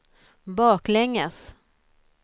baklänges